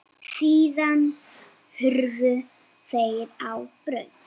Síðan hurfu þeir á braut.